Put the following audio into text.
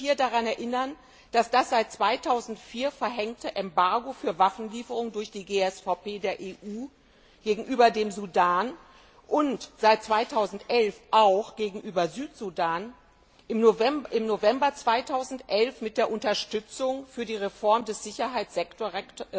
Ich möchte daran erinnern, dass das seit 2004 verhängte Embargo für Waffenlieferungen durch die GSVP der EU gegenüber dem Sudan und seit 2011 auch gegenüber Südsudan im November 2011 mit der Unterstützung für die Reform des Sicherheitssektors